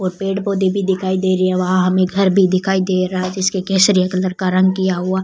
और पेड़ पौधे भी दिखाई दे रहे है वहां हमें घर भी दिखाई दे रहा है जिसके केसरिया कलर का रंग किया हुआ --